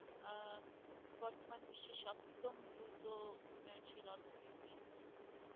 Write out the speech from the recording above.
উন্নয়নশীল অর্থনীতি